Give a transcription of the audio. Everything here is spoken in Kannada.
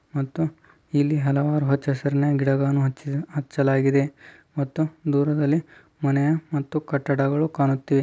ಮತ್ತು ಇಲ್ಲಿ ಹಲವಾರು ಹಚ್ಚ ಹಸಿರಿನ ಗಿಡಗಳನ್ನು ಹಚ್ಚ್ಚಲಾಗಿದೆ. ಮತ್ತು ದುರಲ್ಲಿ ಮನೆ ಮತ್ತು ಕಟ್ಟಡಗಳು ಕಾಣುತ್ತಿವೆ .